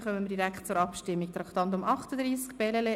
Wir kommen somit direkt zur Abstimmung zum Traktandum 38: